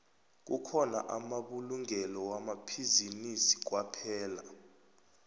kukhona amabulungelo wamabhizinisi kwaphela